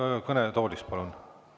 Ikka kõnetoolist palun.